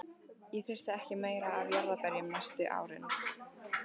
Ég þurfti ekki meira af jarðarberjum næstu árin.